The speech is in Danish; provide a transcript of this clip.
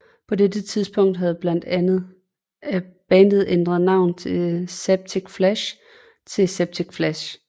På dette tidspunkt havde bandet ændret navn fra Septic Flesh til Septicflesh